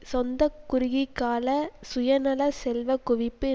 சொந்த குறுகியகால சுயநல செல்வ குவிப்பு